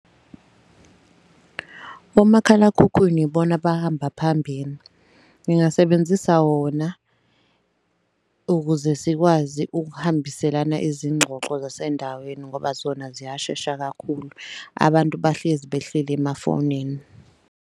Omakhalakhukhwini yibona bahamba phambili. Ngingasebenzisa wona ukuze sikwazi ukuhambiselana izingxoxo zasendaweni ngoba zona ziyashesha kakhulu. Abantu bahlezi behleli emafonini.